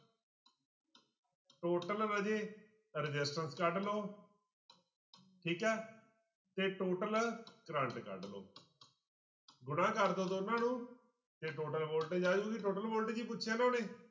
Total ਰਾਜੇ resistance ਕੱਢ ਲਓ ਠੀਕ ਹੈ ਤੇ total ਕਰੰਟ ਕੱਢ ਲਓ ਗੁਣਾ ਕਰ ਦਓ ਦੋਨਾਂ ਨੂੰ ਤੇ total voltage ਆ ਜਾਊਗੀ total voltage ਹੀ ਪੁੱਛਿਆ ਉਹਨਾਂ ਨੇ।